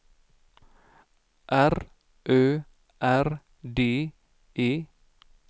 R Ö R D E